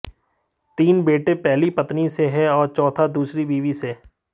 तीन बेटे पहली पत्नी से है और चौथा दूसरी बीवी से